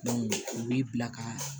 u b'i bila ka